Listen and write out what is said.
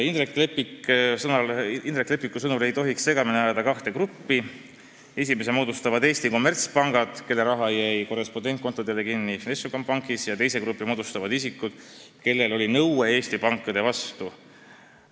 Indrek Leppik sõnas, et segamini ei tohiks ajada kahte gruppi: ühe moodustavad Eesti kommertspangad, kelle raha jäi Vnešekonombankis korrespondentkontodele kinni, ja teise grupi moodustavad isikud, kellel oli nõue Eesti pankade vastu.